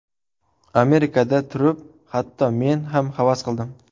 Amerikada turib hatto men ham havas qildim.